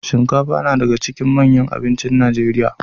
Shinkafa nadaka cikin manyan abincin nigeria